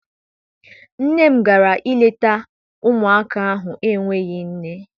Nne m gara I leta ụmụaka ahụ n'enweghị nne.